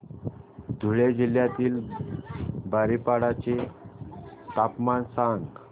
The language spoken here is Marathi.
धुळे जिल्ह्यातील बारीपाडा चे तापमान सांग